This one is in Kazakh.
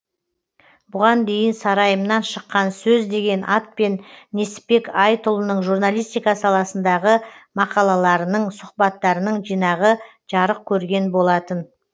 бұған дейін сарайымнан шыққан сөз деген атпен несіпбек айтұлының журналистика саласындағы мақалаларының сұхбаттарының жинағы жарық көрген болатын